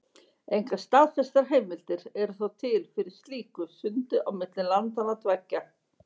Engar staðfestar heimildir eru þó til fyrir slíku sundi á milli landanna tveggja.